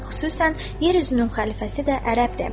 Xüsusən yer üzünün xəlifəsi də ərəbdir.